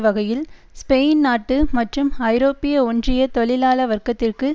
வகையில் ஸ்பெயின் நாட்டு மற்றும் ஐரோப்பிய ஒன்றிய தொழிலாள வர்க்கத்திற்கு